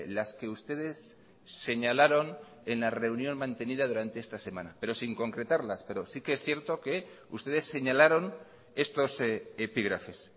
las que ustedes señalaron en la reunión mantenida durante esta semana pero sin concretarlas pero sí que es cierto que ustedes señalaron estos epígrafes